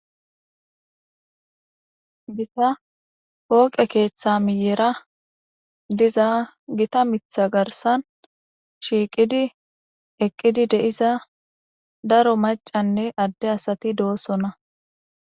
Gitta poqqe ketha miyera dizza gitta mitha garissani shiqidi eqidi deyiza darro maccane ade asati deyosona.